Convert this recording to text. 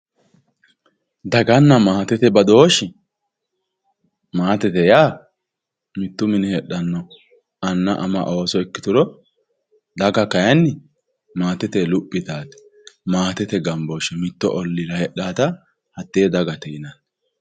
dagana maatete badooshi maatete yaa mitto mine heexxano anna ama ooso ikkituro daga kaayiini maatete luphi yitayoote maatete gaambooshe mittu olliira hexaata hatee dagate yinanni.